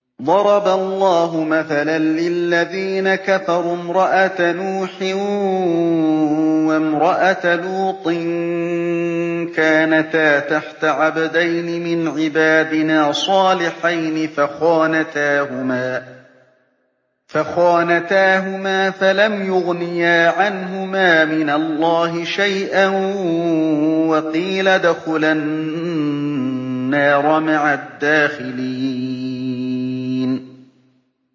ضَرَبَ اللَّهُ مَثَلًا لِّلَّذِينَ كَفَرُوا امْرَأَتَ نُوحٍ وَامْرَأَتَ لُوطٍ ۖ كَانَتَا تَحْتَ عَبْدَيْنِ مِنْ عِبَادِنَا صَالِحَيْنِ فَخَانَتَاهُمَا فَلَمْ يُغْنِيَا عَنْهُمَا مِنَ اللَّهِ شَيْئًا وَقِيلَ ادْخُلَا النَّارَ مَعَ الدَّاخِلِينَ